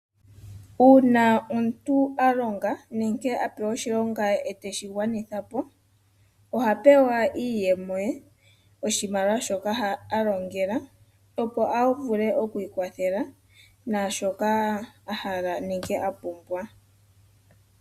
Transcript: Uuna omuntu a longa nenge a pewa oshilonga eteshi gwanitha po oha pewa iiyemo ye oshimaliwa shoka alongela opo avule okwiikwathela naashoka ahala nenge apumbwa.